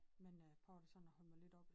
Men øh prøver da sådan at holde mig lidt oppe